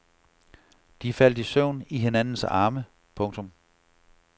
De faldt i søvn i hinandens arme. punktum